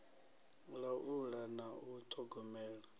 u laula na u ṱhogomela